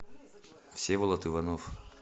всеволод иванов